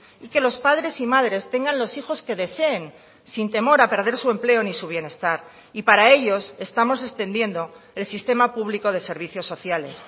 y que los padres y madres tengan los hijos que deseen sin temor a perder su empleo ni su bienestar y para ellos estamos extendiendo el sistema público de servicios sociales